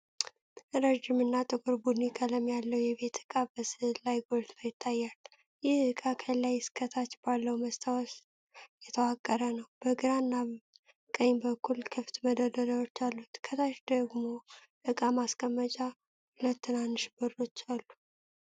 ረጅም እና ጥቁር ቡኒ ቀለም ያለው የቤት ዕቃ በሥዕሉ ላይ ጎልቶ ይታያል። ይህ ዕቃ ከላይ እስከ ታች ባለው መስታወት የተዋቀረ ነው፣ በግራና ቀኝ በኩል ክፍት መደርደሪያዎች አሉት። ከታች ደግሞ ዕቃ ማስቀመጫ ሁለት ትናንሽ በሮች አሉ።